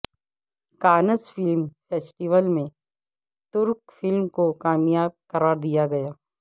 Cannes film festival میں ترک film کو کامیاب قرار دیا گیا